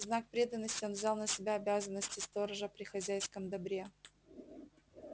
в знак преданности он взял на себя обязанности сторожа при хозяйском добре